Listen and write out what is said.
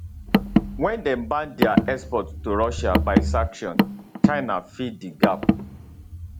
wen dem ban dia export to russia by sanction china fill di gap